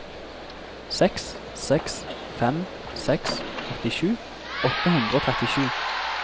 seks seks fem seks åttisju åtte hundre og trettisju